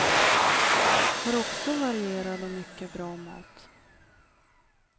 Har också varierad och mycket bra mat.